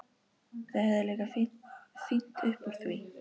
Þau höfðu líka fínt upp úr því.